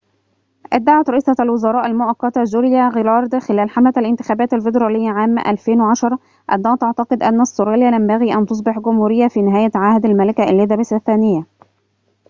ادعت رئيسة الوزراء المؤقتة جوليا غيلارد خلال حملة الانتخابات الفيدرالية لعام 2010 أنها تعتقد أن أستراليا ينبغي أن تصبح جمهورية في نهاية عهد الملكة إليزابيث الثانية